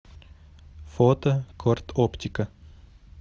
фото корд оптика